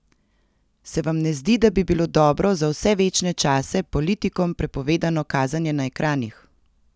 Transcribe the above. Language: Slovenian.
Se vam ne zdi, da bi bilo dobro za vse večne čase politikom prepovedano kazanje na ekranih?